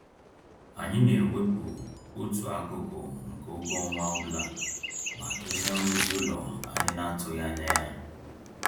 Anyị na-ewepụ otu akụkụ nke ụgwọ ọnwa ọbụla maka ihe nrụzi ụlọ anyị n'atụghị anya ya.